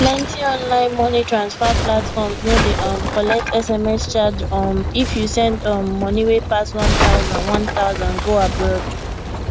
plenty online money transfer platforms no dey um collect sms charge um if you send um money wey pass 1000 1000 go abroad